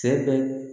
Sɛ bɛ